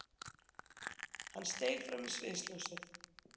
Hann steig fram í sviðsljósið.